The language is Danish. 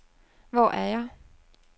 Hvor er jeg